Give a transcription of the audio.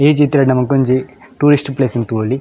Age ಇತ್ತಿನೈಟ್ ನಮಕೊಂಜಿ tourist place ನ್ ತೂವೊಲಿ.